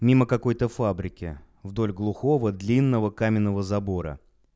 мимо какой-то фабрики вдоль глухого длинного каменного забора